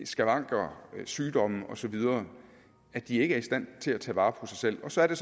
skavanker sygdomme osv at de ikke er i stand til at tage vare på sig selv og så er det